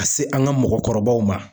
Ka se an ga mɔgɔkɔrɔbaw ma